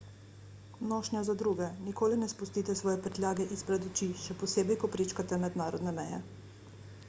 nošnja za druge – nikoli ne spustite svoje prtljage izpred oči še posebej ko prečkate mednarodne meje